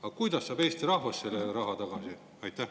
Aga kuidas saab Eesti rahvas selle raha tagasi?